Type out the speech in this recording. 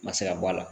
Ma se ka bɔ a la